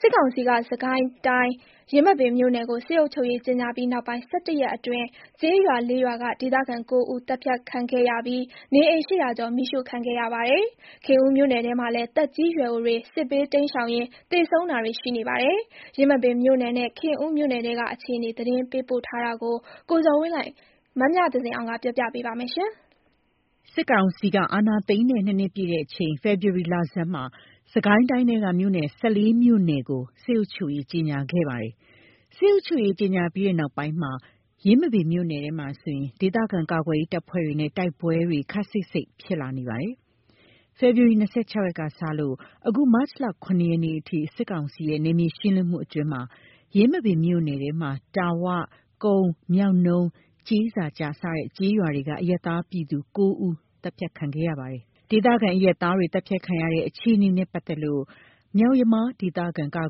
စစ်ကောင်စီက စစ်ကိုင်းတိုင်း၊ ယင်းမာပင်မြို့နယ်ကို စစ်အုပ်ချုပ်ရေး ကြေငြာပြီးနောက်ပိုင်း ၁၁ ရက်အတွင်း ကျေးရွာ ၄ ရွာက ဒေသခံ ၉ ဦး သတ်ဖြတ်ခံခဲ့ရပြီး နေအိမ် ၈၀၀ ကျော် မီးရှို့ခံခဲ့ရပါတယ်။ ခင်ဦးမြို့နယ်ထဲမှာလည်း သက်ကြီးရွယ်အိုတွေ စစ်ဘေးတိမ်းရှောင်ရင်း သေဆုံးတာတွေ ရှိနေပါတယ်။ ယင်းမာပင်မြို့နယ်နဲ့ ခင်ဦးမြို့နယ်ထဲက အခြေအနေ သတင်းပေးပို့ထားတာကို မမြသဇင်အောင်ကက ပြောပြပါမယ်။ စစ်ကောင်စီဟာ အာဏာသိမ်းတဲ့ ၂ နှစ်ပြည့်ချိန် ဖေဖော်ဝါရီ လဆန်းမှာ စစ်ကိုင်းတိုင်းထဲက မြို့နယ် ၁၄ မြို့နယ်ကို စစ်အုပ်ချုပ်ရေး ကြေငြာခဲ့ပါတယ်။ စစ်အုပ်ချုပ်ရေး ကြေငြာပြီးနောက်ပိုင်း ယင်းမာပင်မြို့နယ်ထဲမှာဆိုရင် ဒေသခံကာကွယ်ရေးတပ်ဖွဲ့တွေနဲ့ တိုက်ပွဲတွေ ခပ်စိပ်စိပ် ဖြစ်လာနေပါတယ်။ ဖေဖော်ဝါရီ ၂၆ ရက်ကစလို့ အခု မတ်လ ၇ ရက်နေ့အထိ စစ်ကောင်စီရဲ့ နယ်မြေရှင်းလင်းမှုတွေအတွင်း ယင်းမာပင်မြို့နယ်ထဲမှာ တာ၀ ၊ ကုန်း ၊ မြောက်နုံး ၊ ကျေးစာကျ စတဲ့ ကျေးရွာတွေက အရပ်သား ပြည်သူ ၉ ဦး သတ်ဖြတ်ခံခဲ့ရပါတယ်။ ဒေသခံအရပ်သားတွေ သတ်ဖြတ်ခံရတဲ့အခြေနေနဲ့ ပတ်သက်လို့ မြောက်ယမား ဒေသခံကာ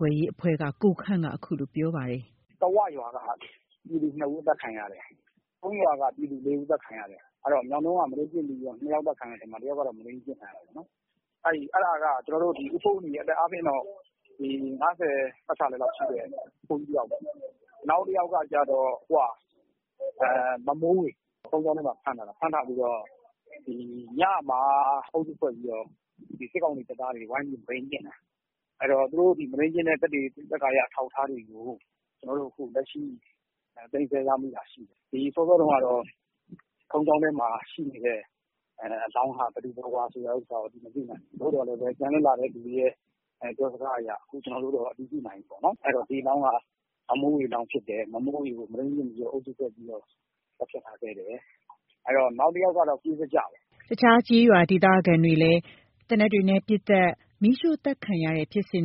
ကွယ်ရေးအဖွဲ့က ကိုခန့်က အခုလို ပြောပါတယ်။ “တာဝရွာက ပြည်သူ ၂ ဦး အသတ်ခံရတယ်။ ကုန်းရွာက ပြည်သူ ၄ ဦး အသတ်ခံရတယ်။ မြောက်နုံးက မုဒိန်းကျင့်ပြီးတော့ ၂ ယောက် အသတ်ခံရတဲ့ထဲမှာ တယောက်က မုဒိန်းကျင့်ခံရတာပေါ့။ အဲ့ဒါက ဦးဖိုးနီ အသက်အားဖြင့်တော့ ၅၀ ပတ်ချာလည်လောက်ရှိတဲ့ အဖိုးကြီးတယောက်ပေါ့။ နောက်တယောက်က မမိုးဝေ ဘုန်းကြီးကျောင်းထဲမှာ ဖမ်းထားတာ ဖမ်းထားပြီးတော့ ညမှာ အုပ်စုဖွဲ့ပြီးတော့ စစ်ကောင်စီတပ်သားတွေ ဝိုင်းပြီးတော့ မုဒိန်းကျင့်တာ။ သူတို့မုဒိန်းကျင့်တဲ့ သက်သေအထောက်အထားတွေကို ကျွန်တော်တို့ သိမ်းဆည်းရမိထားတာရှိတယ်။ စောစောက ဘုန်းကြီးကျောင်းထဲမှာ ရှိနေတဲ့ အလောင်းဟာ ဘယ်သူဘယ်ဝါဆိုတာကို မသိနိုင်ဘူး။ သို့သော်ပြန်လွတ်လာတဲ့သူတွေရဲ့ ပြောစကားအရ အခု ကျွန်တော်တို့ အတည်ပြုနိုင်ပြီပေါ့။ ဒီအလောင်းက မမိုးဝေဖြစ်တယ် မုဒိန်းကျင့်ပြီး သတ်ဖြတ်ထားခဲ့တယ်။ နောက်တယောက်က ကျေးစာကျပေါ့။” အခြားကျေးရွာက ဒေသခံတွေဟာ သေနတ်တွေနဲ့ ပစ်သတ် မီးရှို့ သတ်ခံရခဲ့ရတာတွေဖြစ်ပြီး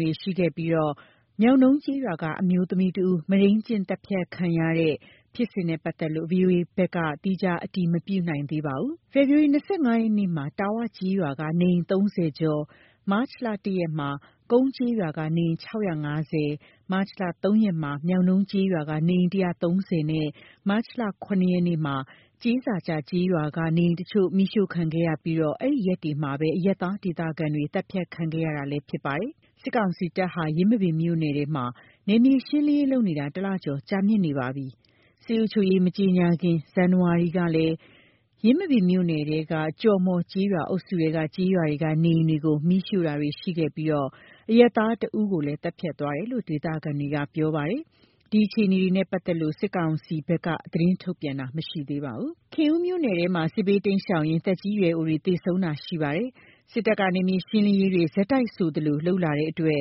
မြောက်နုံးကျေးရွာက အမျိုးသမီးတဦး မုဒိန်းကျင့်သတ်ဖြတ်ခံရတဲ့ ဖြစ်စဉ်နဲ့ ပတ်သက်လို့ ဗွီအိုအေဘက်က သီးခြား အတည်မပြုနိုင်သေးပါဘူး။ ဖေဖော်ဝါရီ ၂၅ ရက်မှာ တာ၀ ကျေးရွာက နေအိမ် ၃၀ ကျော် ၊ မတ်လ ၁ ရက်မှာ ကုန်းကျေးရွာက နေအိမ် ၆၅၀ ၊ မတ်လ ၃ ရက်မှာ မြောက်နုံးကျေးရွာက နေအိမ် ၁၃၀ နဲ့ မတ်လ ၇ ကျေးစာကျ ကျေးရွာက နေအိမ်အချို့ မီးရှို့ခဲ့ပြီး အဲ့ဒီရက်တွေမှာပဲ အရပ်သား ဒေသခံတွေ သတ်ဖြတ်ခံခဲ့ရတာလည်း ဖြစ်ပါတယ်။ စစ်ကောင်စီတပ်ဟာ ယင်းမာပင်မြို့နယ်ထဲမှာ နယ်မြေရှင်းလင်းရေးလုပ်နေတာ ၁ လကျော် ကြာမြင့်နေပါပြီ။ စစ်အုပ်ချုပ်ရေး မကြေငြာမှီ ဇန်နဝါရီ လကလည်း ယင်းမာပင်မြို့နယ်ထဲက ကျော်မှော်ကျေးရွာ အုပ်စုထဲက ကျေးရွာတွေက နေအိမ်တွေကို မီးရှို့တာတွေ လုပ်ခဲ့ပြီး အရပ်သား ၁ ဦးကိုလည်း သတ်ဖြတ်သွားသေးတယ်လို့ ဒေသခံတွေက ပြောပါတယ်။ ဒီအခြေအနေတွေနဲ့ ပတ်သက်လို့ စစ်ကောင်စီဘက်ကလည်း သတင်းထုတ်ပြန် တာမရှိသေးပါဘူး။ ခင်ဦးမြို့နယ်ထဲမှာလည်း စစ်ဘေးတိမ်းရှောင်ရင်း သက်ကြီးရွယ်အိုတွေ သေဆုံးတာတွေ ရှိနေပါတယ်။ စစ်တပ်က နယ်မြေရှင်းလင်းရေးတွေ ဆက်တိုက်ဆိုသလို လုပ်လာနေတဲ့အတွက်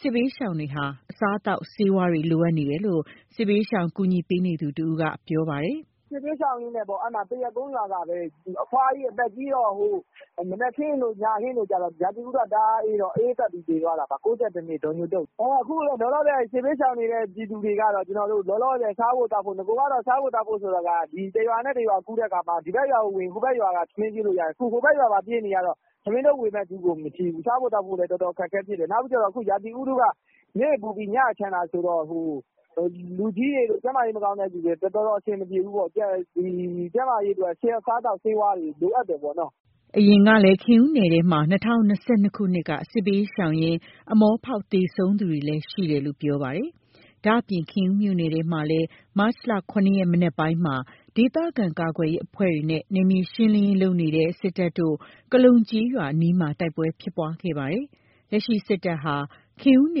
စစ်ဘေးရှောင်တွေဟာ အစားအသောက်ဆေးဝါးတွေ လိုအပ်နေတယ်လို့ စစ်ဘေးရှောင် ကူညီပေးနေသူတဦးက ပြောပါတယ်။ “စစ်ဘေးရှောင်ရင်းနဲ့ပေါ့ သရက်ကုန်းရွာကပဲ အဖွားကြီး အသက်ကြီးတော့ မနက်ခင်းတို့ ညခင်းတို့ ရာသီဥတုက တအားအေးတော့ အအေးပတ်ပြီး သေသွားတာ။ ၉၁ နှစ် ဒေါ်ညိုတုတ်။ အခုလောလောဆယ် စစ်ဘေးရှောင်နေတဲ့ ပြည်သူတွေကတော့ လောလောဆယ် စားဖို့သောက်ဖို့ နဂိုက စားဖို့သောက်ဖို့ဆိုတာ တရွာနဲ့ တရွာကူးတဲ့အခါမှာ ဒီဘက်ရွာကိုဝင်ရင် ဟိုဘက်ရွာက ထမင်းကျွေးလို့ရသေးတယ်။ အခုဟိုဘက် ရွာပါပြေးနေရတော့ ထမင်းထုတ်ဝေမယ့်သူကို မရှိဘူး။ စားဖို့ သောက်ဖို့လည်း အခက်အခဲဖြစ်တယ်။ နောက်ပြီးကျတော့ ရာသီဥတုက နေ့ပူပြီး ညချမ်းတာဆိုတော့ ကျန်းမာရေးအတွက် တော်တော်အဆင်မပြေဘူး။ ကျန်းမာရေးအတွက် အစားအသောက် ဆေးဝါးတွေ လိုအပ်တယ်ပေါ့။” အရင်ကလည်း ခင်ဦးနယ်ထဲမှာ ၂၀၂၂ ခုနှစ်က စစ်ဘေးရှောင်ရင်း အမောဖောက်ပြီး သေဆုံးသွားသူတွေ ရှိတယ်လို့လည်း ပြောပါတယ်။ ဒါ့အပြင် ခင်ဦးမြို့နယ်ထဲမှာလည်း မတ်လ ၇ ရက် မနက်ပိုင်းမှာ ဒေသခံကာကွယ်ရေး အဖွဲ့တွေနဲ့ နယ်မြေရှင်းလင်းရေး လုပ်နေတဲ့ စစ်တပ်တို့ ကလုံ ကျေးရွာအနီးမှာ တိုက်ပွဲ ဖြစ်ပွားခဲ့ကြပါသေးတယ်။ လက်ရှိ စစ်တပ်ဟာ ခင်ဦးန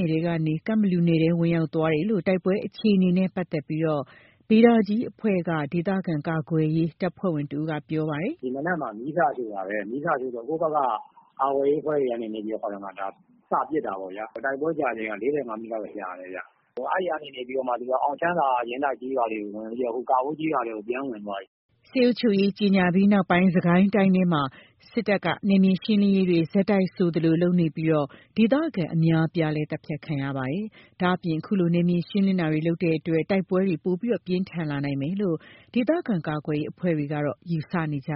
ယ်ထဲကနေ ကန့်ဘလူနယ်ထဲကို ဝင်ရောက်သွားတယ်လို့ တိုက်ပွဲအခြေအနေနဲ့ ပတ်သက်လို့ ဗေဒါကြီးအဖွဲ့က ဒေသခံကာကွယ်ရေး တပ်ဖွဲ့ဝင်တဦးက ပြောပါတယ်။ “ဒီမနက်မှာ မီးစရှို့တာပဲ။ မီးစရှို့တော့ ကိုယ့်ဘက်က ကာကွယ်ရေးအဖွဲ့တွေကနေ စပစ်တာပေါ့။ တိုက်ပွဲကြာချိန်က ၄၅ မိနစ်လောက်တော့ကြာတယ်။ အဲ့ကနေပြီးတော့မှ အောင်ချမ်းသာ ယင်းတိုက်ကျေးရွာတွေကိုဝင်ပြီးတော့ ကာဘိုးကျေးရွာထဲကို ဝင်သွားပြီ။” စစ်အုပ်ချုပ်ရေး ကြေငြာပြီးနောက်ပိုင်း စစ်ကိုင်းတိုင်းထဲမှာ စစ်တပ်က နယ်မြေရှင်းလင်းရေးတွေ ဆက်တိုက်ဆိုသလို ပြုလုပ်နေပြီး ဒေသခံတွေလည်း အများအပြား သတ်ဖြတ်ခံနေရပါတယ်။ ဒါ့အပြင် အခုလို နယ်မြေရှင်းလင်းတာတွေ လုပ်နေတဲ့အတွက် တိုက်ပွဲတွေလည်း ပိုမိုပြင်းထန်လာနိုင်မယ်လို့ ဒေသခံကာကွယ်ရေး အဖွဲ့တွေက ယူဆနေပ